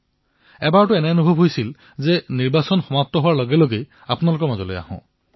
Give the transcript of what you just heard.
এবাৰ মন গল যে নিৰ্বাচন শেষ হোৱাৰ ঠিক পিছতেই আপোনালোকৰ মাজলৈ আহি যাও